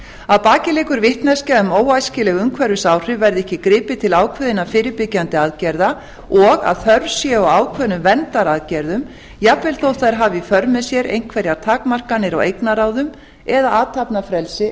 að baki liggur vitneskja um óæskileg umhverfisáhrif verði ekki gripið til ákveðinna fyrirbyggjandi aðgerða og að þörf sé á ákveðnum verndaraðgerðum jafnvel þótt þær hafi í för með sér einhverjar takmarkanir á eignarráðum eða athafnafrelsi